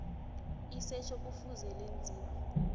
isetjho kufuze lenziwe